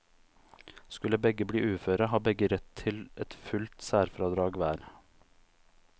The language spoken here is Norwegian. Skulle begge bli uføre, har begge rett til et fullt særfradrag hver.